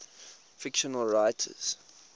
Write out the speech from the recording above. fictional writers